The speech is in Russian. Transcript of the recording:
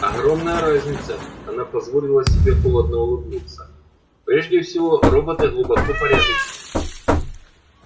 огромная разница она позволила себе холодно улыбнуться прежде всего роботы глубоко порядочны